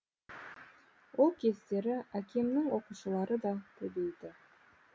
ол кездері әкемнің оқушылары да көбейді